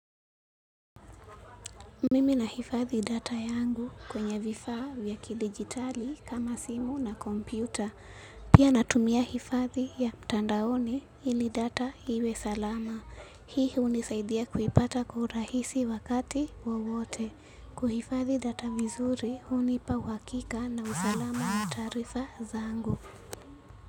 Mimi nahifadhi data yangu kwenye vifaa vya kidijitali kama simu na kompyuta. Pia natumia hifadhi ya mtandaoni ili data iwe salama. Hii hunisaidia kuipata kwa urahisi wakati wowote. Kuhifadhi data vizuri hunipa uhakika na usalama wa taarifa zangu.